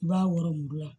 I b'a wɔrɔn